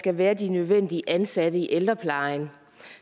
skal være det nødvendige ansatte i ældreplejen